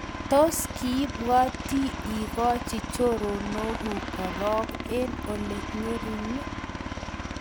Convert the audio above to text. Tos kiibwatyi ikochi choronokuk korok eng Ole ngering?